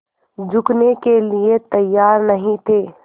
झुकने के लिए तैयार नहीं थे